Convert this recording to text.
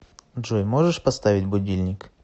джой можешь поставить будильник